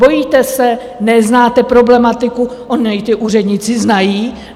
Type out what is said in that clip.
Bojíte se, neznáte problematiku, onu jí ti úředníci znají?